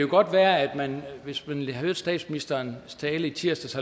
godt være at man hvis man hørte statsministerens tale i tirsdags